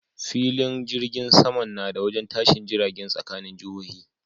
Filin jirgin saman nada wajen tashin jiragen tsakanin jihohi